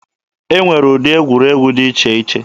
E nwere ụdị egwuregwu dị iche iche.